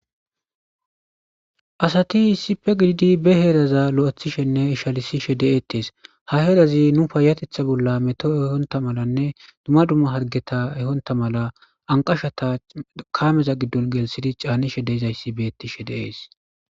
asati isipe gididi be heeraza lo7ethishenne ishalisishe de7eettees ha herazi nu payatetha bolla metoo ehonta malanne dumma dumma hargeta ehonta mala anqashata kaameza giddon geelsidi caanishe deizayssi beettishe deees